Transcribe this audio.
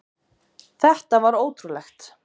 Þetta var ótrúlegt.